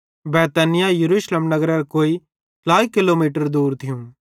बैतनिय्याह यरूशलेम नगरेरां कोई ट्लाई किलोमीटर दूर थियूं